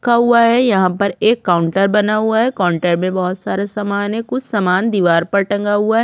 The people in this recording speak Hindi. रखा हुआ है यहाँ पर एक काउंटर बना हुआ है काउंटर पर बहोत सारे सामान कुछ सामान दिवार पर टंगा हुआ है।